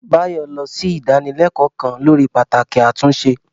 Bayo lọ sí ìdánilẹ́kọ̀ọ́ kan lórí pàtàkì àtúnṣe.